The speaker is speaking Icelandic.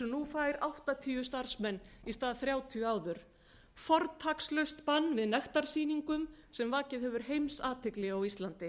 fær áttatíu starfsmenn í stað þrjátíu áður fortakslaust bann við nektarsýningum sem vakið hefur heimsathygli á íslandi